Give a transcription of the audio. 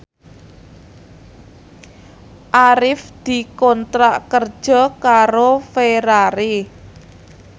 Arif dikontrak kerja karo Ferrari